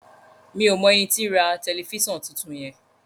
mi'o mọ ẹní tí rà Tẹlifísàn títún yen